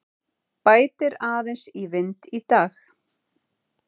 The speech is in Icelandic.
Bætir aðeins í vind í dag